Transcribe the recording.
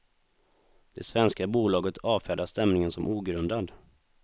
Det svenska bolaget avfärdar stämningen som ogrundad.